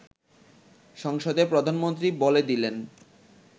সংসদে প্রধানমন্ত্রী বলে দিলেন